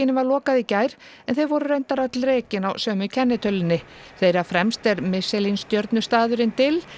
var lokað í gær en þau voru reyndar öll rekin á sömu kennitölunni þeirra fremst er Michelin stjörnu staðurinn dill